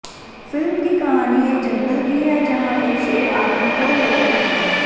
film की कहानी एक जंगल की है जहां एक शेर आदमखोर हो गया है